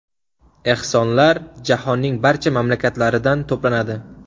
Ehsonlar jahonning barcha mamlakatlaridan to‘planadi.